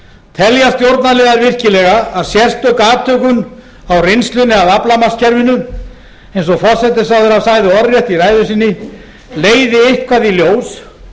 telja stjórnarliðar virkilega að sérstök athugun á reynslunni af aflamarkskerfinu eins og forsætisráðherra sagði orðrétt í ræðu sinni leiði eitthvað í ljós